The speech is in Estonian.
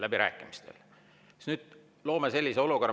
Läbirääkimistel!